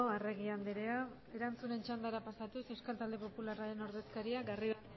arregi andrea erantzunen txandara pasatuz euskal talde popularraren ordezkaria garrido